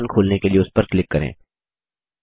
application खोलने के लिए उस पर क्लिक करें